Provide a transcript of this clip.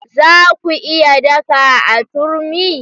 Za ku iya daka a turmi?